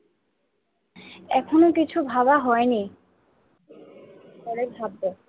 এখনো কিছু ভাবা হয়নি পরে ভাববো।